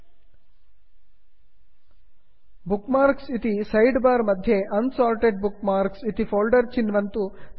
ल्ट्पाउसेग्ट bookmarks bookmarks इति sidebar मध्ये unsorted bookmarks unsorted bookmarks इति folder चिन्वन्तु